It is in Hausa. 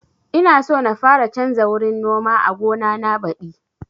Ina so na fara canza wurin noma a gona na badi